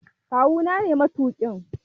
Kawu na ne matuƙin.